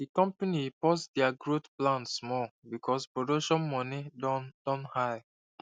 the company pause their growth plan small because production money don don high